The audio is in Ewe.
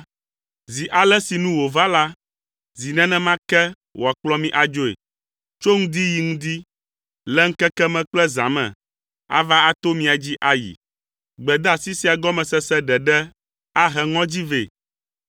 Zi ale si nu wòva la, zi nenema ke wòakplɔ mi adzoe. Tso ŋdi yi ŋdi, le ŋkeke me kple zã me, ava ato mia dzi ayi.” Gbedeasi sia gɔmesese ɖeɖe ahe ŋɔdzi vɛ.